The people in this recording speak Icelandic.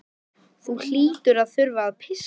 Þú hlýtur að þurfa að pissa.